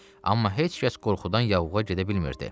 Amma heç kəs qorxudan yavuğa gedə bilmirdi.